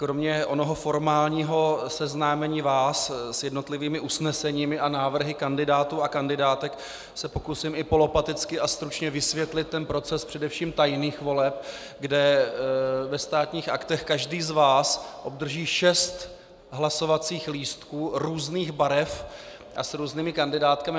Kromě onoho formálního seznámení vás s jednotlivými usneseními a návrhy kandidátů a kandidátek se pokusím i polopaticky a stručně vysvětlit ten proces především tajných voleb, kde ve Státních aktech každý z vás obdrží šest hlasovacích lístků různých barev a s různými kandidátkami.